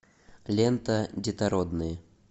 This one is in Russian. лента детородные